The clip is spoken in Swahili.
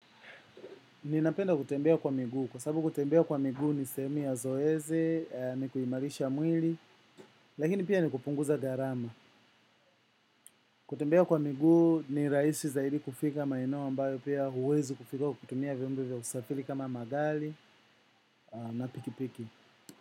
Ninapenda kutembea kwa miguu, kwa sababu kutembea kwa miguu ni sehemu ya zoezi, ni kuimarisha mwili, lakini pia ni kupunguza gharama. Kutembea kwa miguu ni rahisi zaidi kufika maeneo ambayo pia huwezi kufika kutumia vyombo vya usafiri kama magari na pikipiki.